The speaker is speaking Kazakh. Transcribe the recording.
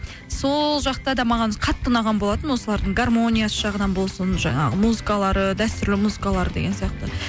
сол жақта да маған қатты ұнаған болатын осылардың гармониясы жағынан болсын жаңағы музыкалары дәстүрлі музыкалары деген сияқты